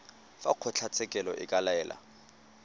fa kgotlatshekelo e ka laela